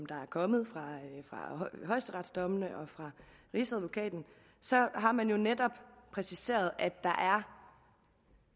der er kommet fra højesteretsdommene og fra rigsadvokaten har man jo netop præciseret